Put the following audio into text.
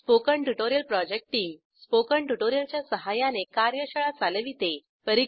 spoken tutorial project team spoken tutorial च्या सहाय्याने कार्यशाळा चालविते